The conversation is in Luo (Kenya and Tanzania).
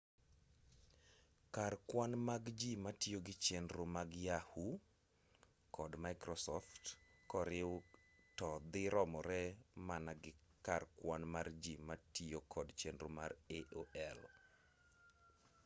kar kwan mag ji matiyo gi chenro mag yahoo kod microsoft koriw to dhi romore mana gi kar kwan mar ji matiyo kod chenro mar aol